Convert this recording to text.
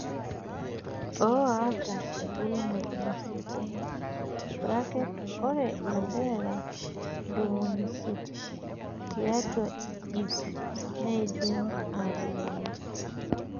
Oo ata embulunoto nasiekuu (ore ilanterera ntomoni isiet tiatwa iip neidim atubulu).